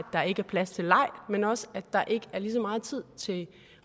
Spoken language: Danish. der ikke er plads til leg men også at der ikke er lige så meget tid til